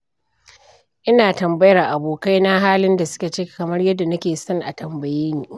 Ina tambayar abokaina halin da suke ciki kamar yadda nake son a tambaye ni.